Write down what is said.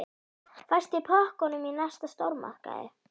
Fæst í pökkum í næsta stórmarkaði.